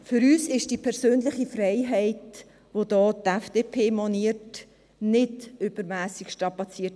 Für uns ist die persönliche Freiheit, welche die FDP anspricht, nicht übermässig strapaziert.